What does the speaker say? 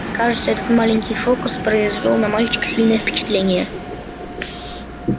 кажется этот маленький фокус произвёл на мальчика сильное впечатление